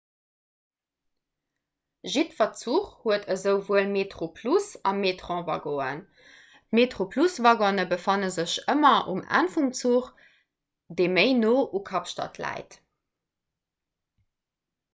jiddwer zuch huet esouwuel metroplus a metrowaggonen d'metroplus-waggone befanne sech ëmmer um enn vum zuch dee méi no u kapstad läit